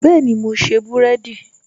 Bẹẹni, mo ṣe búrẹ́dì